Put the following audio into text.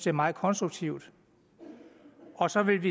er meget konstruktivt og så vil